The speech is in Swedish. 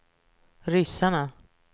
ryssarna